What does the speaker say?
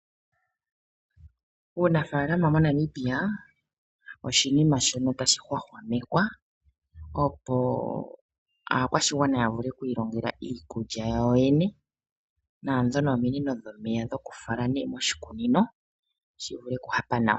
Uunafalama moNamibia oshinima shono tashi hwahwamekwa, opo aakwashigwana ya vule kwiilongela iikulya yawo yene. Naadhono ominino dhomeya dhokufala nee moshikunino shi vule okuhapa nawa.